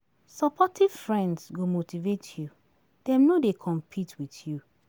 Supportive friends go motivate you dem no dey compete with you.